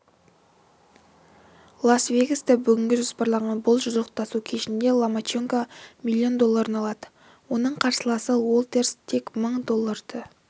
лас-вегаста бүгінге жоспарланған бұл жұдырықтасу кешінде ломаченко миллион долларын алады оның қарсыласы уолтерс тек мың долларды